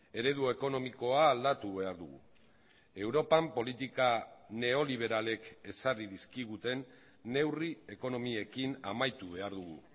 eredu ekonomikoa aldatu behar dugu europan politika neoliberalek ezarri dizkiguten neurri ekonomiekin amaitu behar dugu